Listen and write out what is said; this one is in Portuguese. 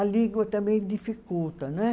A língua também dificulta. não é